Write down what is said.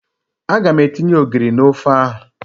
Aga m etinye ogiri n'ofe ahụ.